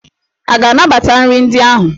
A ga-anabata nri ndị ahụ?